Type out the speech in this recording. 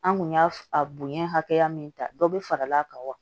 An kun y'a a bonya hakɛya min ta dɔ bi fara'a kan wa